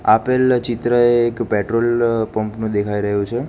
આપેલ ચિત્ર એક પેટ્રોલ પંપ નું દેખાઈ રહ્યુ છે.